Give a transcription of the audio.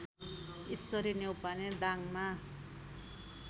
Ishwari Neupane दाङमा